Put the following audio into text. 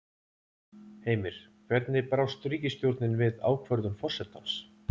Heimir, hvernig brást ríkisstjórnin við ákvörðun forsetans?